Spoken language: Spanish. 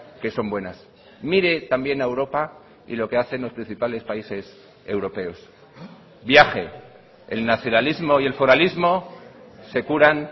que son buenas mire también a europa y lo que hacen los principales países europeos viaje el nacionalismo y el foralismo se curan